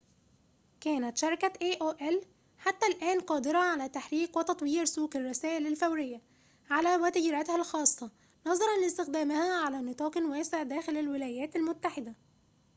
كانت شركة إيه أو إل حتّى الآن قادرة على تحريك وتطوير سوق الرسائل الفورية على وتيرتها الخاصة نظراً لاستخدامها على نطاقٍ واسعٍ داخلَ الولايات المتحدة